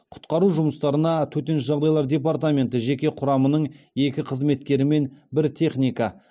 құтқару жұмыстарына төтенше жағдай департаменті жеке құрамының екі қызметкері мен бір техника